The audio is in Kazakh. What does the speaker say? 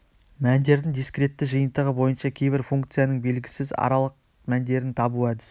мәндердің дискретті жиынтығы бойынша кейбір функцияның белгісіз аралық мәндерін табу әдісі